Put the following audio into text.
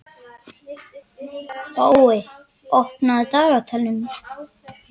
Bói, opnaðu dagatalið mitt.